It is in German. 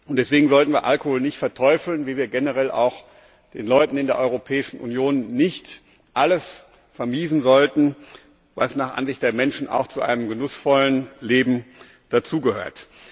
Deswegen sollten wir Alkohol nicht verteufeln, wie wir generell auch den Leuten in der Europäischen Union nicht alles vermiesen sollten, was nach Ansicht der Menschen auch zu einem genussvollen Leben dazugehört.